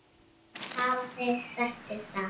Hafa þeir sagt þér það?